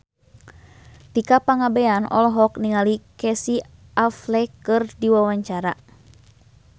Tika Pangabean olohok ningali Casey Affleck keur diwawancara